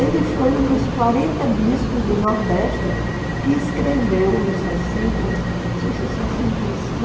Ele foi um dos quarenta bispos do Nordeste que escreveu em sessenta, não sei se sessenta e